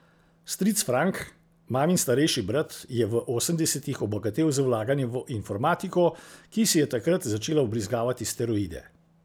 Stric Frank, mamin starejši brat, je v osemdesetih obogatel z vlaganjem v informatiko, ki si je takrat začela vbrizgavati steroide.